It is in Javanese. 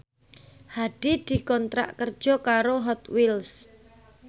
Hadi dikontrak kerja karo Hot Wheels